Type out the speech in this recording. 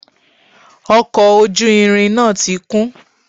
Ọkọ̀ ojú irin náà ti kún